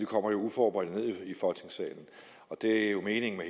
kommer uforberedte ned i folketingssalen og det er jo meningen